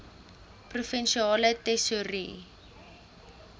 provinsiale tesourie